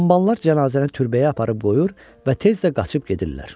Hamballar cənazəni türbəyə aparıb qoyur və tez də qaçıb gedirlər.